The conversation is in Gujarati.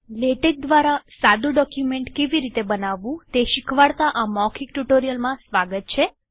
લેટેક દ્વારા સાદું ડોક્યુમેન્ટ કેવી રીતે બનાવવું તે શીખવાડતા આ મૌખિક ટ્યુ્ટોરીઅલમાં સ્વાગત છે